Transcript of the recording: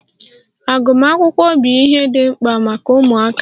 Agụmakwụkwọ bụ ihe dị mkpa maka ụmụaka.